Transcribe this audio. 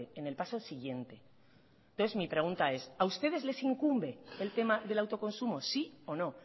en el paso siguiente entonces mi pregunta es a ustedes les incumbe el tema del autoconsumo sí o no